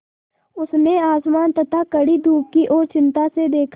उसने आसमान तथा कड़ी धूप की ओर चिंता से देखा